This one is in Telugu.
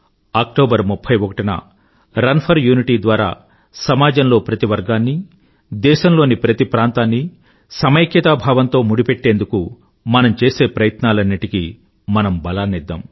అక్టోబర్ 31 న రన్ ఫర్ యూనిటీ ద్వారా సమాజంలో ప్రతి వర్గాన్నీ దేశంలోని ప్రతి ప్రాంతాన్నీ సమైక్యతాభావంతో ముడిపెట్టేందుకు మనం చేసే ప్రయత్నాలన్నింటికీ మనం బలాన్నిద్దాం